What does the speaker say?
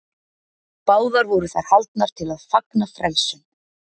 báðar voru þær haldnar til að fagna frelsun